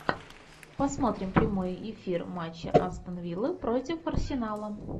посмотрим прямой эфир матча астон вилла против арсенала